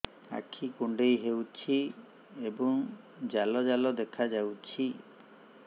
ଆଖି କୁଣ୍ଡେଇ ହେଉଛି ଏବଂ ଜାଲ ଜାଲ ଦେଖାଯାଉଛି